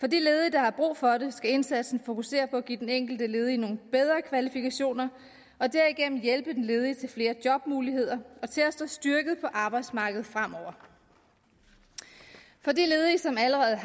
der har brug for det skal indsatsen fokusere på at give den enkelte ledige nogle bedre kvalifikationer og derigennem hjælpe den ledige til flere jobmuligheder og til at stå styrket på arbejdsmarkedet fremover for de ledige som allerede